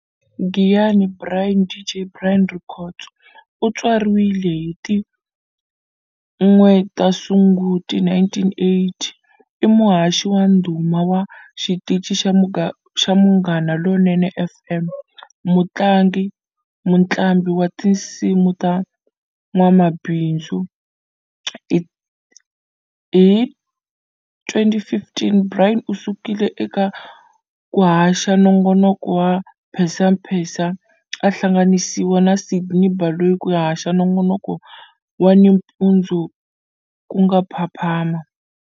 Giyani Brian"DJ Brian" Rikhotso, utswariwile hi ti 1 ta sunguti 1980, i muhaxi wa ndhuma wa xitichi xa Munghana Lonene FM, mutlangi-mutlambi wa tinsimu na n'wamabindzu. hi ti 2015, Brian usukile eka kuhaxa nongonoko wa Mphensamphensa a hlanganisiwa na Sydney Baloyi ku ya haxa nongonoko wa ni mpundzu ku nga Phaphama.